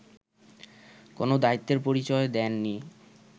কোন দায়িত্বের পরিচয় দেননি